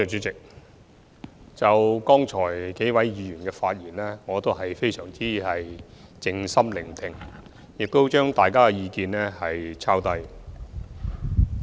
就剛才數位議員的發言，我非常靜心聆聽，亦寫下大家的意見。